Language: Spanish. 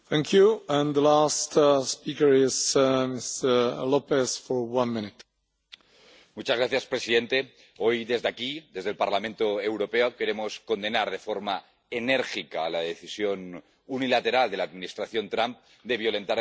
Señor presidente, hoy desde aquí, desde el Parlamento Europeo, queremos condenar de forma enérgica la decisión unilateral de la Administración Trump de violentar el acuerdo nuclear con Irán.